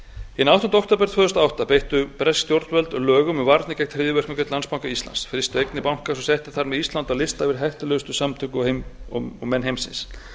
hinn áttunda október tvö þúsund og átta beittu bresk stjórnvöld lögum um varnir gegn hryðjuverkum gegn landsbanka íslands frystu eignir bankans og settu þar með ísland á lista yfir hættulegustu samtök og menn heimsins